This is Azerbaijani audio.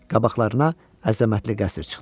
Qabaqlarına əzəmətli qəsr çıxdı.